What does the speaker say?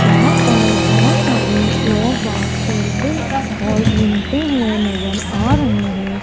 यहां पर बहुत सारे लोग बाहर खेलते और घूमते हुए नजर आ रहे हैं।